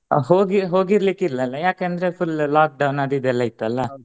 ಹೋಗಿ ಹೋಗಿರಲಿಕ್ಕಿಲ್ಲ ಅಲ್ಲಾ ಯಾಕಂದ್ರೆ full lockdown ಅದು ಇದು ಎಲ್ಲಾ ಇತ್ತಲ್ಲಾ.